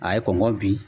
A ye kɔngɔ bi